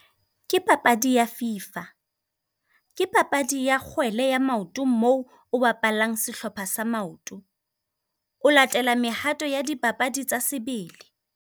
Ke papadi ya Fifa, ke papadi ya kgwele ya maoto moo o bapallang sehlopha sa maoto. O latela mehato ya dipapadi tsa sebele.